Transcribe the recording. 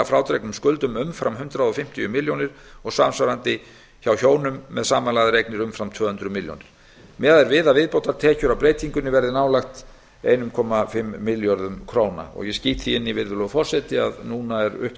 frádregnum skuldum umfram hundrað fimmtíu milljónir króna og samsvarandi hjá hjónum með samanlagðar eignir umfram tvö hundruð milljóna króna miðað er við að viðbótartekjur af breytingunni verði nálægt einum komma fimm milljörðum króna og ég skýt því inn í virðulegur forseti að núna er upptaka